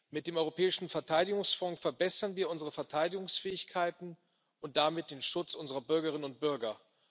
Mit dem Europäischen Verteidigungsfonds verbessern wir unsere Verteidigungsfähigkeiten und damit den Schutz unserer Bürgerinnen und Bürger.